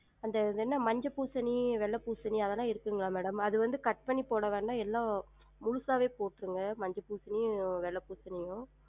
அந்த மஞ்ச பூசணி வெள்ள பூசணி இருக்குங்களா madam? அது வந்து cut பன்னி போட வேணாம் எல்லாம் முழுசாவே போற்றுங்க மஞ்ச பூசணியும் வெள்ள பூசணியும்